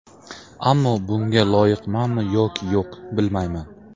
Ammo bunga loyiqmanmi yoki yo‘q, bilmayman.